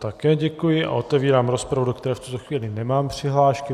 Také děkuji a otevírám rozpravu, do které v tuto chvíli nemám přihlášky.